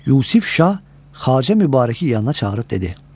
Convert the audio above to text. Yusif Şah Xacə Mübarəki yanına çağırıb dedi: